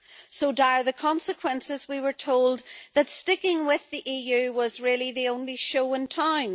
So dire were the consequences, we were told, that sticking with the EU was really the only show in town.